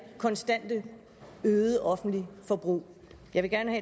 konstante øgede offentlige forbrug jeg vil gerne